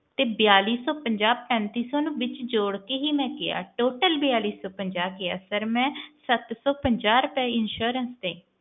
ਤੇ ਬੇਲੀ ਸੌ ਪੰਜਾਹ ਪੈਂਤੀ ਸੌ ਨੂੰ ਵਿਚ ਜੋੜ ਕੇ ਹੀ ਕਿਹਾ total ਬੇਲੀ ਸੌ ਪੰਜਾਹ ਕਿਹਾ ਮੈਂ ਸੱਤ ਸੋ ਪੰਜਾਹ ਰੁਪਿਆ insurance ਦੇ